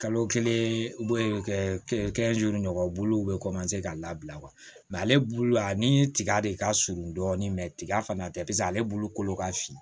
Kalo kelen kɛ ɲɔgɔn bulu bɛ ka labila ale bulu a ni tiga de ka surun dɔɔni tiga fana tɛ paseke ale bulu ka fin